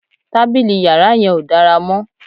Tábìlì yàrá yẹn ò dára mọ́